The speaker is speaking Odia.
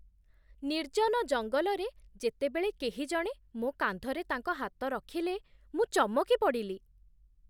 ନିର୍ଜନ ଜଙ୍ଗଲରେ ଯେତେବେଳେ କେହିଜଣେ ମୋ କାନ୍ଧରେ ତାଙ୍କ ହାତ ରଖିଲେ, ମୁଁ ଚମକି ପଡ଼ିଲି।